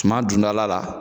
Suman dun dɔla la